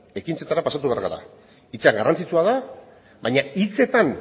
ekintzetara pasatu behar gara hitza garrantzitsua da baina hitzetan